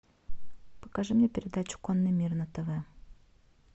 покажи мне передачу конный мир на тв